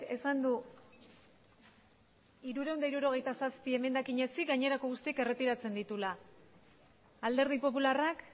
esan du hirurehun eta hirurogeita zazpi emendakina ezik gainerako guztiak erretiratzen dituela alderdi popularrak